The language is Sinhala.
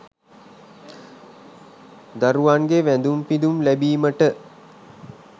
දරුවන්ගේ වැඳුම් පිඳුම් ලැබීමට